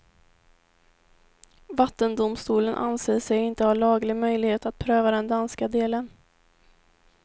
Vattendomstolen anser sig inte ha laglig möjlighet att pröva den danska delen.